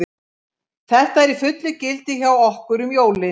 Þetta er í fullu gildi hjá okkur um jólin.